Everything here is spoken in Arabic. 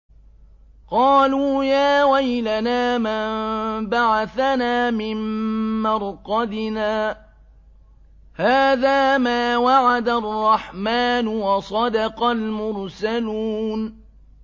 قَالُوا يَا وَيْلَنَا مَن بَعَثَنَا مِن مَّرْقَدِنَا ۜۗ هَٰذَا مَا وَعَدَ الرَّحْمَٰنُ وَصَدَقَ الْمُرْسَلُونَ